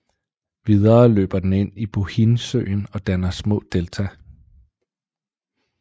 Videre løber den ind i Bohinjsjøen og danner små delta